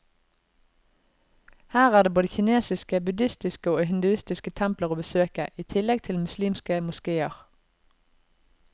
Her er det både kinesiske, budhistiske og hinduistiske templer å besøke, i tillegg til muslimske moskeer.